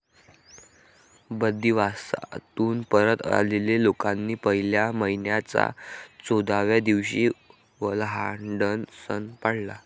बंदिवासातून परत आलेल्या लोकांनी पहिल्या महिन्याच्या चौदाव्या दिवशी वल्हांडण सण पाळला.